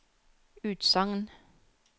utsagn